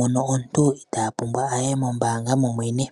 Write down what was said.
inaya pumbwa okuya komahala goombaanga.